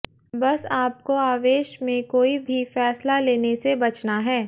बस आपको आवेश में कोई भी फैसला लेने से बचना है